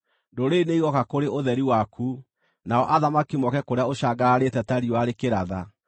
Ndũrĩrĩ nĩigooka kũrĩ ũtheri waku, nao athamaki moke kũrĩa ũcangararĩte ta riũa rĩkĩratha.